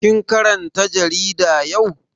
Kin karanta jarida yau?